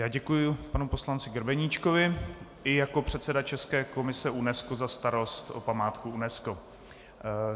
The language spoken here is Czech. Já děkuju panu poslanci Grebeníčkovi i jako předseda české komise UNESCO za starost o památku UNESCO.